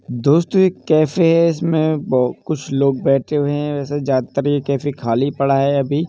दोस्तों ये एक कैफ़े है। इसमें बो कुछ लोग बैठे हुए हैं। वैसे ज्यादातर ये कैफ़े खाली पड़ा है अभी।